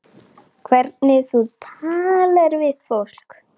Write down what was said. Hvernig þú talar við fólk.